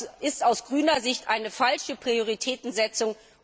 Das ist aus grüner Sicht eine falsche Prioritätensetzung.